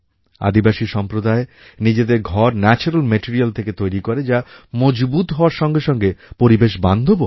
আদিবাসী সম্প্রদায় নিজেদের ঘর ন্যাচুরাল মেটেরিয়াল থেকে তৈরি করে যা মজবুত হওয়ার সঙ্গে সঙ্গে পরিবেশবান্ধবও হয়